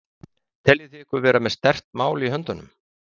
Jón Júlíus Karlsson: Teljið þið ykkur vera með sterkt mál í höndunum?